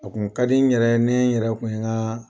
A tun ka di n yɛrɛ ne n yɛrɛ kun ye n ka